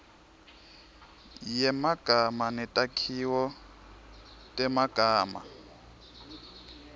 yemagama netakhiwo temagama